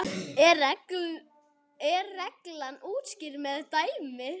er reglan útskýrð með dæmi